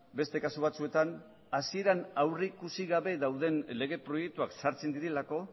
beste kasu batzuetan hasieran aurrikusi gabe dauden lege proiektuak sartzen direlako